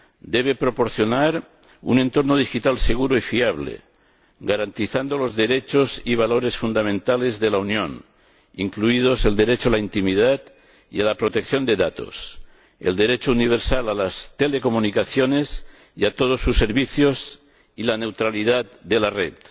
Debe proporcionar un entorno digital seguro y fiable, garantizando los derechos y valores fundamentales de la Unión, incluidos el derecho a la intimidad y a la protección de datos, el derecho universal a las telecomunicaciones y a todos sus servicios y la neutralidad de la red.